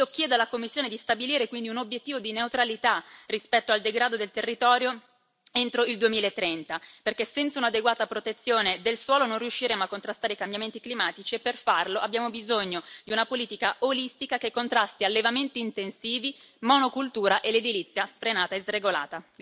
Io chiedo alla Commissione di stabilire quindi un obiettivo di neutralità rispetto al degrado del territorio entro il 2030, perché senza un'adeguata protezione del suolo non riusciremo a contrastare i cambiamenti climatici e per farlo abbiamo bisogno di una politica olistica, che contrasti allevamenti intensivi, monocultura e l'edilizia sfrenata e sregolata.